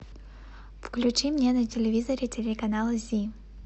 включи мне на телевизоре телеканал зи